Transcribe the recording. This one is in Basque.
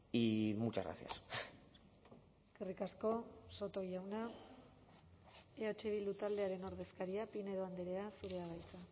y muchas gracias eskerrik asko soto jauna eh bildu taldearen ordezkaria pinedo andrea zurea da hitza